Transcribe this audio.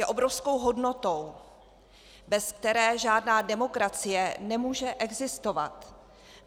Je obrovskou hodnotou, bez které žádná demokracie nemůže existovat.